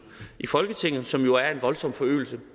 i folketinget som jo er en voldsom forøgelse